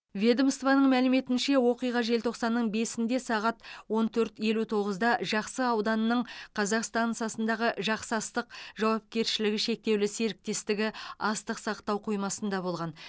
ведомствоның мәліметінше оқиға желтоқсанның бесінде сағат он төрт елу тоғызда жақсы ауданының казақ стансасындағы жақсы астық жауапкершілігі шектеулі серіктестігі астық сақтау қоймасында болған